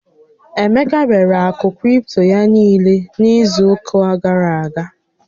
Emeka rere àkụ̀ kripto ya niile n'izu ụká gàrà aga.